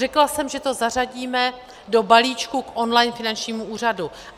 Řekla jsem, že to zařadíme do balíčku k online finančnímu úřadu.